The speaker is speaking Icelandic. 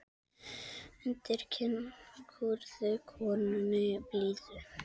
Undir kinn kúrðu konunni blíðu.